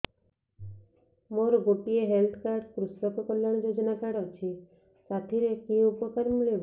ମୋର ଗୋଟିଏ health card କୃଷକ କଲ୍ୟାଣ ଯୋଜନା କାର୍ଡ ଅଛି ସାଥିରେ କି ଉପକାର ମିଳିବ